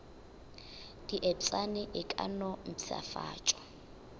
diepšane e ka no mpšhafatšwa